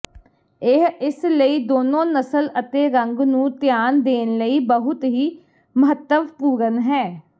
ਇਹ ਇਸ ਲਈ ਦੋਨੋ ਨਸਲ ਅਤੇ ਰੰਗ ਨੂੰ ਧਿਆਨ ਦੇਣ ਲਈ ਬਹੁਤ ਹੀ ਮਹੱਤਵਪੂਰਨ ਹੈ